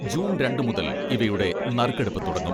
June രണ്ട് മുതൽ ഇവയുടെ നറുക്കെടുപ്പ് തുടങ്ങും.